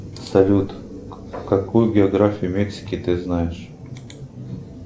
салют какую географию мексики ты знаешь